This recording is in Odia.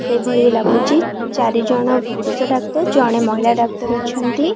ସେଭଳି ଲାଗୁଚି ଚାରି ଜଣ ପୁରୁଷ ଡାକ୍ତର ଜଣେ ମହିଳା ଡାକ୍ତର ଅଛନ୍ତି।